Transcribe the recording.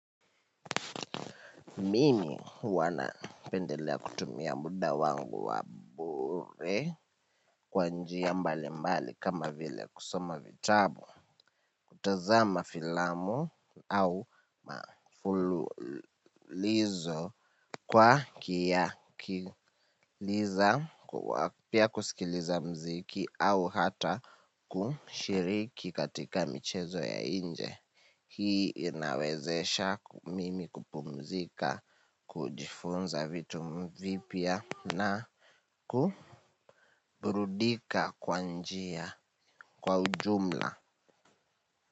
Mimi huwa napendelea kutumia muda wangu wa bure kwa njia mbalimbali kama vile kusoma vitabu. Kutazama filamu au mafululizo kwa kiyakiliza kwa pia kusikiliza muziki au hata kushiriki katika michezo ya nje. Hii inawezesha mimi kupumzika, kujifunza vitu vipya na kuburudika kwa njia kwa ujumla.